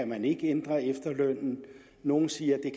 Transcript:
man ikke kan ændre efterlønnen nogle siger